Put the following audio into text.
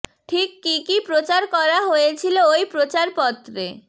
ঠিক কী কী প্রচার করা হয়েছিল ওই প্রচার পত্রে